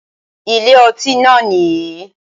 Ilé ọtí náà nìyì